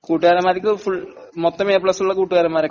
കൂട്ടുകാരന്മാർക്ക് ഫുൾ...മൊത്തം A plus ഉള്ള കൂട്ടുകാരൊക്കെയുണ്ടാ?